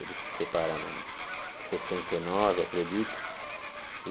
Eles se separaram em sessenta e nove, acredito. E